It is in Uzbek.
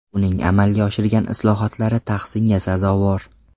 Uning amalga oshirgan islohotlari tahsinga sazovor.